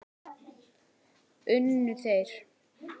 Unnu þeir?